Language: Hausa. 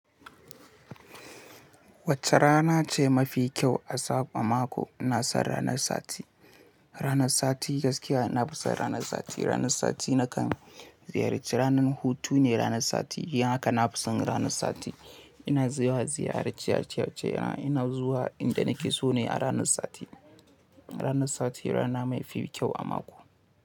Wacce rana ce mafi kyau a sabon mako? Na san ranar sati. Ranar sati gaskiya na fi son ranar sati. Ranar sati nakan ziyarci ranar hutu ne. Ranar sati yin haka nafi son ranar sati. Ina zaiwa ziyara ci aceace ina zuwa inda nake so ne a ranar sati. Ranar sati rana mafi kyau a mako.